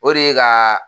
O de ye ka